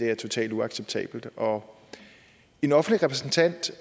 er totalt uacceptabelt og en offentlig repræsentant